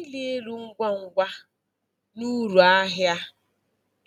Ịrị elu ngwa ngwa na uru ahịa